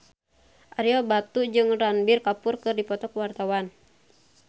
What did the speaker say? Ario Batu jeung Ranbir Kapoor keur dipoto ku wartawan